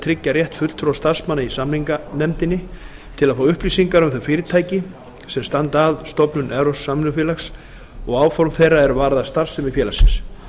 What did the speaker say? tryggja rétt fulltrúa starfsmanna í samninganefndinni til að fá upplýsingar um þau fyrirtæki sem standa að stofnun evrópsks samvinnufélags og áform þeirra er varða starfsemi félagsins